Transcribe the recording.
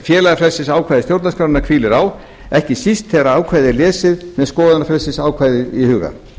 félagafrelsisákvæði stjórnarskrárinnar hvílir á ekki síst þegar ákvæðið er lesið með skoðanafrelsisákvæðið í huga